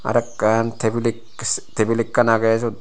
arokkan table ek table ekkan aage sut.